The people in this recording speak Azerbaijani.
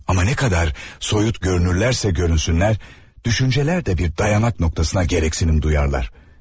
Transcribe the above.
Amma nə qədər soyut görünürlərsə görünsünlər, düşüncələr də bir dayanaq nöqtəsinə gərəksinim duyarlar.